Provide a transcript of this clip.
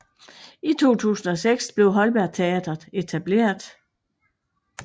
I 2006 blev Holberg Teatret etableret